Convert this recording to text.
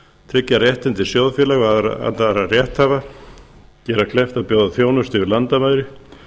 tryggja réttindi sjóðfélaga og annarra rétthafa gera kleift að bjóða þjónustu yfir landamæri